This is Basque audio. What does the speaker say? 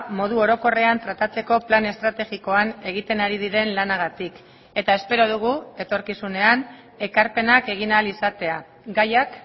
modu orokorrean tratatzeko plan estrategikoan egiten ari diren lanagatik eta espero dugu etorkizunean ekarpenak egin ahal izatea gaiak